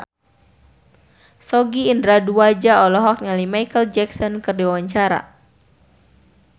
Sogi Indra Duaja olohok ningali Micheal Jackson keur diwawancara